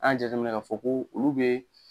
An y'a jateminɛ k'a fɔ ko olu be.